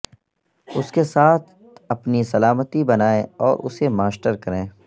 اس کے ساتھ اپنی سلامتی بنائیں اور اسے ماسٹر کریں